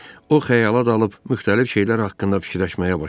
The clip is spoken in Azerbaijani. O xəyala dalıb müxtəlif şeylər haqqında fikirləşməyə başladı.